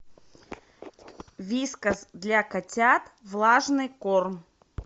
вискас для котят влажный корм